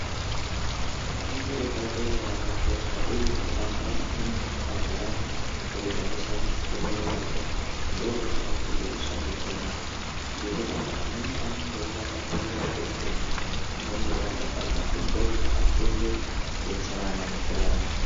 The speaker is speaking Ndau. Fundo yepadera yakakosha uye zve antu anofana kuti agare eigarisana fundo yepadera ndokuti funde kushandidzana ngekudaro amweni anenge eiwata padera pemubhedha amweni eiata pazasi ndokuti afunde eidetserana mukurarama.